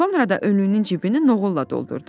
Sonra da önünün cibini noğulla doldurdu.